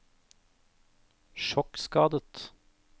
sjokkskadet